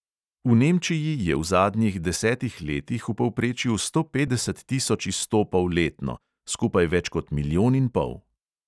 V nemčiji je v zadnjih desetih letih v povprečju sto petdeset tisoč izstopov letno, skupaj več kot milijon in pol.